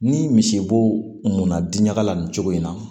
Ni misibo na di ɲaga la nin cogo in na